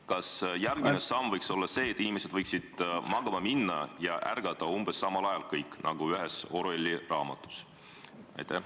Kas järgmine samm võiks olla see, et inimesed võiksid kõik magama minna ja ärgata ühel ajal, nagu ühes Orwelli raamatus?